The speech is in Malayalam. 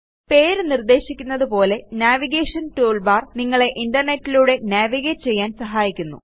പേര് നിർദ്ദേശിക്കുന്നതുപോലെ നാവിഗേഷൻ ടൂൾബാർ നിങ്ങളെ internetലൂടെ നാവിഗേറ്റ് ചെയ്യാന് സഹായിക്കുന്നു